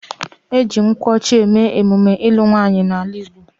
E ji nkwu ocha eme emume ilu nwaanyi n'ala Igbo